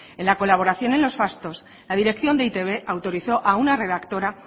en la colaboración en los fastos la dirección de e i te be autorizó a una redactora